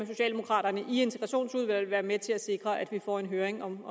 socialdemokraterne i integrationsudvalget vil være med til at sikre at vi får en høring om